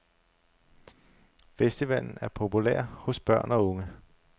Festivalen er populær hos børn og unge.